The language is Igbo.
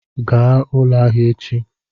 Gaa ụlọ ahịa echi!